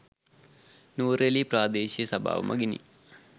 නුවරඑළිය ප්‍රාදේශීය සභාව මගිනි